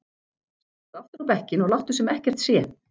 Sestu aftur á bekkinn og láttu sem ekkert sé!